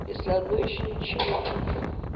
если одно ещё ничего